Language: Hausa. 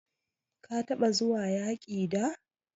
Ka taba zuwa yaki da?